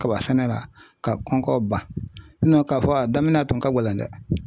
Kaba sɛnɛ la ka kɔnkɔ ban ka fɔ a daminɛ a tun ka gɛlɛn dɛ.